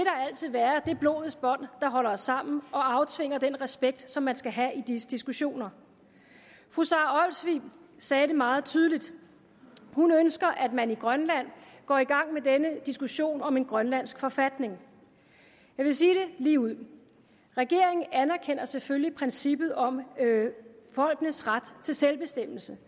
altid være det blodets bånd der holder os sammen og aftvinger den respekt som man skal have i disse diskussioner fru sara olsvig sagde det meget tydeligt hun ønsker at man i grønland går i gang med denne diskussion om en grønlandsk forfatning jeg vil sige det ligeud regeringen anerkender selvfølgelig princippet om folkenes ret til selvbestemmelse